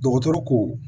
Dɔgɔtɔrɔ ko